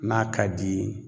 N'a ka d'i ye